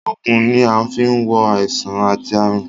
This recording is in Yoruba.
Ògùn ni a fi ń wo àìsàn àti àrùn